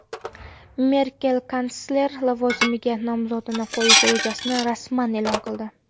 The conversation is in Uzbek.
Merkel kansler lavozimiga nomzodini qo‘yish rejasini rasman e’lon qildi.